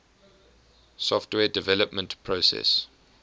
software development process